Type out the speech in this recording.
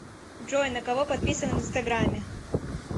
джой на кого подписан в инстаграмме